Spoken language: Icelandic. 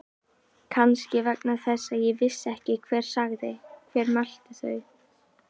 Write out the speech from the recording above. Kannski vegna þess að ég vissi ekki hver sagði. hver mælti þau.